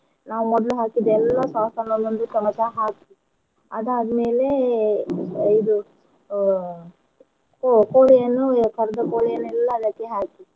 ನಾವ್ ಮೊದ್ಲ್ ಹಾಕಿದ ಎಲ್ಲ sauce ನ್ನೂ ಒಂದೊಂದು ಚಮಚ ಹಾಕಿ ಅದಾದ್ ಮೇಲೆ ಇದು ಅಹ್ ಕ್~ ಕೋಳಿಯನ್ನು ಕರಿದ ಕೋಳಿಯನ್ನೆಲ್ಲ ಅದಕ್ಕೆ ಹಾಕಿ.